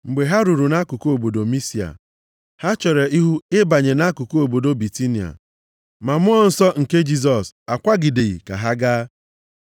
Mgbe ha ruru nʼakụkụ obodo Misia, ha chere ihu ịbanye nʼakụkụ obodo Bitinia. Ma Mmụọ Nsọ nke Jisọs akwagideghị ka ha gaa.